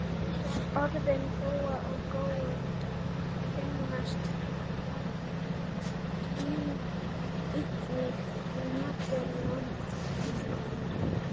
Orðin góa og gói finnast einnig í Norðurlandamálum.